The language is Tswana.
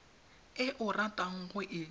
e o ratang go e